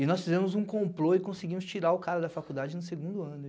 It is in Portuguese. E nós fizemos um complô e conseguimos tirar o cara da faculdade no segundo ano.